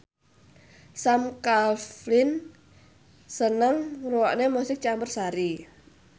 Sam Claflin seneng ngrungokne musik campursari